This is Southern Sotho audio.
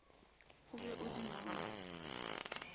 o be o di ngole